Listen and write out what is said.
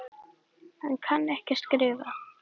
Hann kann ekki að skrifa.